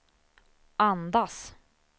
andas